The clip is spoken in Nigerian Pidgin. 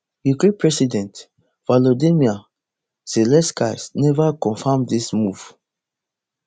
ukraine president volodymyr zelensky never confam dis move